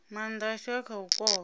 maanda ashu a kha u kovha